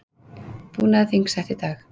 Búnaðarþing sett í dag